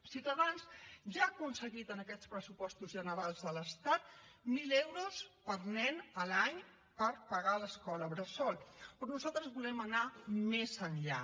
ciutadans ja ha aconseguit en aquests pressupostos generals de l’estat mil euros per nen a l’any per pagar l’escola bressol però nosaltres volem anar més enllà